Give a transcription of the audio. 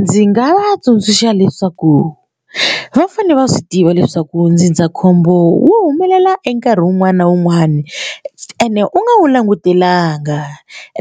Ndzi nga va tsundzuxa leswaku va fanele va swi tiva leswaku ndzindzakhombo wu humelela e nkarhi wun'wani na wun'wani ene u nga wu langutelanga